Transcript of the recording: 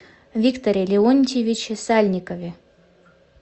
викторе леонтьевиче сальникове